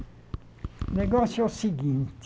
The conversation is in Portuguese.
O negócio é o seguinte.